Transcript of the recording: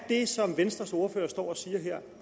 det som venstres ordfører står og siger her